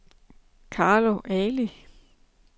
Carlo Ali